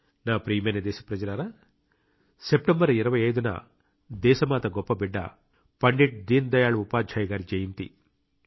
నా ప్రియమైన దేశ ప్రజలారా సెప్టెంబర్ 25 న దేశమాత గొప్ప బిడ్డ పండిట్ దీన్ దయాళ్ ఉపాధ్యాయ గారి జయంతి